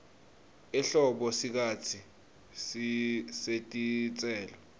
ehlobo sikhatsi setitselo